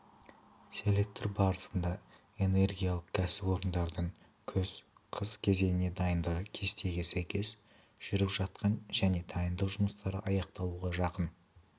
селектор барысында энергиялық кәсіпорындардың күз-қыс кезеңіне дайындығы кестеге сәйкес жүріп жатқаны және дайындық жұмыстары аяқталуға жақын